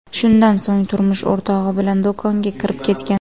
Shundan so‘ng turmush o‘rtog‘i bilan do‘konga kirib ketgan.